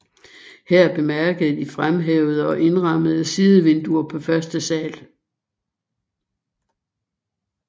Her bemærkes de fremhævede og indrammede sidevinduer på første sal